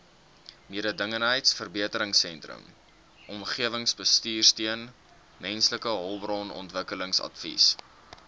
mededingendheidsverbeteringsteun omgewingsbestuursteun mensehulpbronontwikkelingsadvies